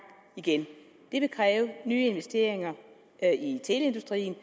igen det vil kræve nye investeringer i teleindustrien og